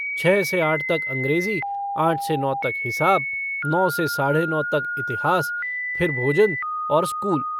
छः से आठ तक अँग्रेज़ी, आठ से नौ तक हिसाब, नौ से साढ़े नौ तक इतिहास, फिर भोजन और स्कूल।